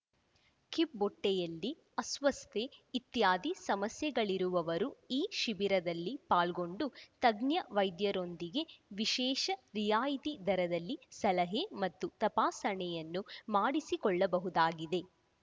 ಕಿಬ್ಬೊಟ್ಟೆಯಲ್ಲಿ ಅಸ್ವಸ್ಥತೆ ಇತ್ಯಾದಿ ಸಮಸ್ಯೆಗಳಿರುವವರು ಈ ಶಿಬಿರದಲ್ಲಿ ಪಾಲ್ಗೊಂಡು ತಜ್ಞ ವೈದ್ಯರೊಂದಿಗೆ ವಿಶೇಷ ರಿಯಾಯಿತಿ ದರದಲ್ಲಿ ಸಲಹೆ ಮತ್ತು ತಪಾಸಣೆಯನ್ನು ಮಾಡಿಸಿಕೊಳ್ಳಬಹುದಾಗಿದೆ